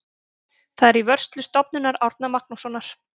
Það er í vörslu Stofnunar Árna Magnússonar.